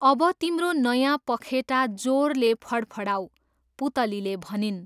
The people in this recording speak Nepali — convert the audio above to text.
अब तिम्रो नयाँ पखेटा जोरले फडफडाऊ, पुतलीले भनिन्।